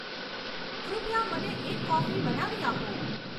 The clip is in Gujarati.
કૃપયા મને એક કોફી બનાવી આપો